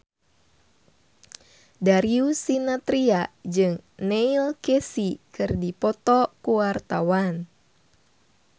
Darius Sinathrya jeung Neil Casey keur dipoto ku wartawan